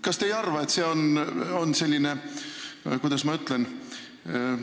Kas te ei arva, et see on selline – kuidas ma ütlen?